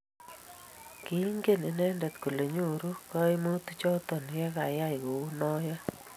kiingen inendet kole nyoru kaimutik choto ye yai kou noe